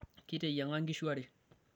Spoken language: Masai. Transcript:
kiteyiang'a nkishu are